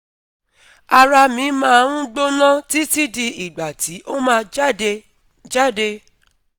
ara mi ma n gbona titi di igba ti o ma jade jade